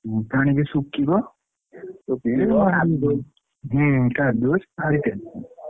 ହୁଁ ପାଣି ଟା ଶୁଖିବ ହୁଁ କାଦୁଅ ।